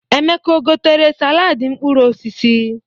Emeka o gotere saladị mkpụrụ osisi?